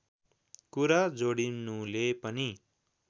कुरा जोडिनुले पनि